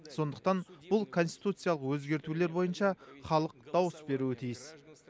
сондықтан бұл конституциялық өзгертулер бойынша халық дауыс беруі тиіс